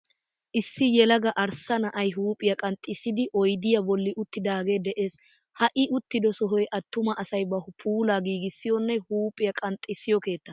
Issi yelaga arssa na'ay huuphiya qanxxissiiddi oydiya bolli uttidaagee de'ees. Ha I uttido sohay attuma asay ba puulaa giigissiyonne huuphphiya qanxxissiyo keettaa.